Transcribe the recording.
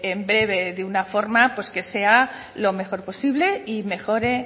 en breve de una forma pues que sea lo mejor posible y mejore